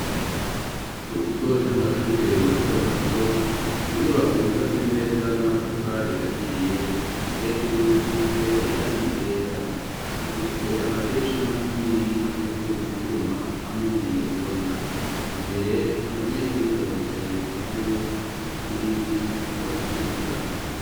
Mu kigo c'amashure, mato mato, mu nyubako yubatse neza, n'amatafari ahiye, hejuru isize irangi ryera; ifise amadirisha manini, akozwe mu twuma, hamwe n'ibiyo bibona, imbere abanyeshuri baricaye, ku ntebe z'ibiti bari kwiga.